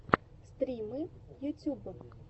стримы ютюб